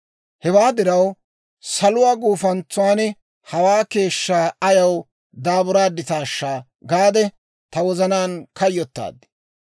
Hewaa diraw, saluwaa gufantsan hawaa keeshshaa ayaw daaburaaditaashsha gaade ta wozanaan kayyotaad.